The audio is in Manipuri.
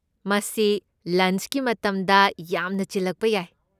ꯃꯁꯤ ꯂꯟꯆꯀꯤ ꯃꯇꯝꯗ ꯌꯥꯝꯅ ꯆꯤꯜꯂꯛꯄ ꯌꯥꯏ꯫